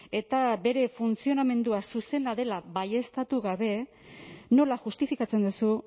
eta bere funtzionamendua zuzena dela baieztatu gabe nola justifikatzen duzu